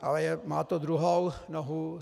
Ale má to druhou nohu.